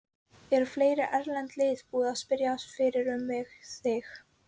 Eru fleiri erlend lið búin að spyrjast fyrir um þig?